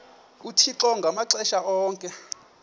uthixo ngamaxesha onke